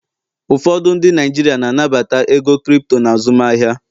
ụfọdụ ndị Naijiria na-anabata ego Kripto na azụmahịa